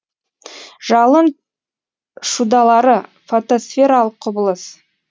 жалын шудалары фотосфералық құбылыс